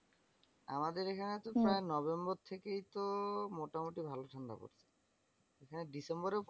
আমাদের এখানে তো প্রায় নভেম্বর থেকেই তো মোটামুটি ভালো ঠান্ডা পড়ছে। এখানে ডিসেম্বরেও